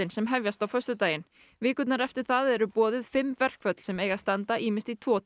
sem hefjast á föstudaginn vikurnar eftir það eru boðuð fimm verkföll sem eiga að standa ýmist í tvo